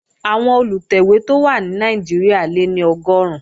Àwọn Olùtẹ̀wé tó wà ní Nàìjíríà lé ní Ọgọ́run